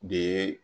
De ye